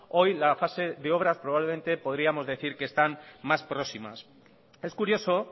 hoy la fase de obras probablemente podríamos decir que están más próximas es curioso